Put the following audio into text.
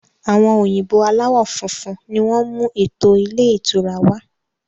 Àwọn òyìnbó aláwọ funfun ni wọn mú eto ilé ìtura wá.